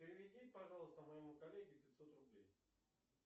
переведи пожалуйста моему коллеге пятьсот рублей